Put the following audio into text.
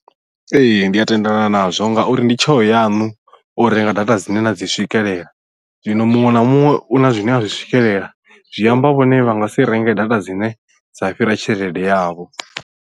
Ee ndi a tendelana nazwo ngauri ndi tsheo yaṋu u renga data dzine na dzi swikelela zwino muṅwe na muṅwe una zwine a zwi swikelela zwi amba vhone vha nga si renge data dzine dza fhira tshelede yavho.